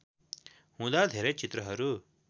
हुँदा धेरै चित्रहरू